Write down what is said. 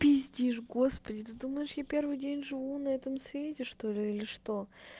пиздишь господи ты думаешь я первый день живу на этом свете что-ли или что